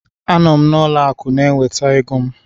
A nọ m n'ụlọ akụ na-enweta ego m